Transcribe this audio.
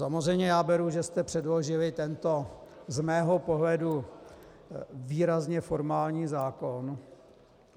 Samozřejmě já beru, že jste předložili tento z mého pohledu výrazně formální zákon.